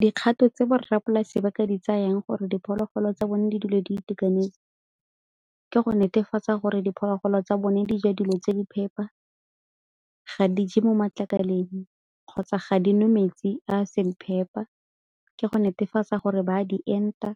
Dikgato tse borra polasi ba ka di tsayang gore diphologolo tsa bone di dule di itekanetse ke go netefatsa gore diphologolo tsa bone di ja dilo tse di phepa, ga di je mo matlakaleng kgotsa ga dinwe metsi a a seng phepa, le go netefatsa gore ba a di enta